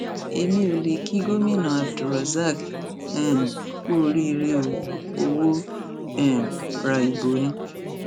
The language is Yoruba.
èmi ò lè kí gómìnà abdulrosaq um kú oríire o ò fọwọ um ra ibo ni